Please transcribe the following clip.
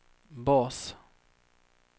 bas